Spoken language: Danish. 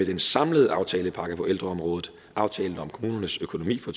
den samlede aftalepakke på ældreområdet aftale om kommunernes økonomi for